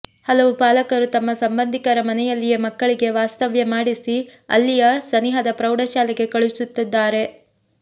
ಹಲವು ಪಾಲಕರು ತಮ್ಮ ಸಂಬಂಧಿಕರ ಮನೆಯಲ್ಲಿಯೇ ಮಕ್ಕಳಿಗೆ ವಾಸ್ತವ್ಯ ಮಾಡಿಸಿ ಅಲ್ಲಿಯ ಸನಿಹದ ಪ್ರೌಢಶಾಲೆಗೆ ಕಳಿಸುತ್ತಿದ್ದಾರೆ